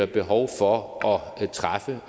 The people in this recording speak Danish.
behov for at træffe